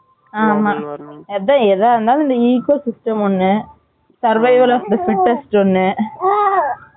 ஆமா அதான் எதா இருந்தாலும் இந்த Eco system ஒன்னு Survival of the fittest ஒன்னு